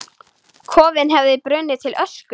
Kofinn hefði brunnið til ösku!